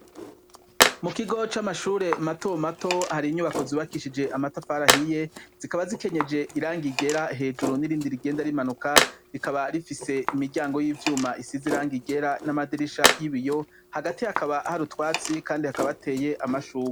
Mukigo c'amashure matomato hari inyubako zubakishije amatafari ahiye, zikaba zikenyeje irangi ryera hejuru n’irindi rigenda rimanuka, rikaba rifise imiryango yivyuma isize irangi ryera namadirisha yibiyo, hagati hakaba har’utwatsi kandi hakaba hateye amashurwe.